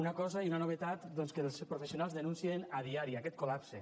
una cosa i una novetat doncs que els professionals denuncien a diari aquest col·lapse